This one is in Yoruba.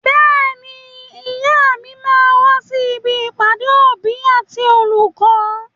Bẹ́ẹ̀ni, ìyá mi máa wà sí ibi ìpàdé òbí àti olùkọ́.